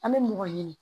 An bɛ mɔgɔ ɲini